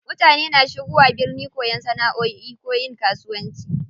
Mutane na shigowa birni koyan sana'oi ko yin kasuwanci.